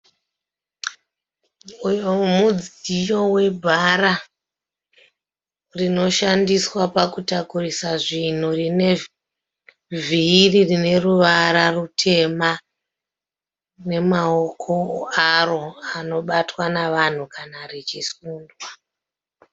Uyo mudziyo webhara rinoshandiswa pakutakurisa zvinhu rine vhiri rine ruvara rutema nemaoko aro anobatwa nevanhu kana richisundwa.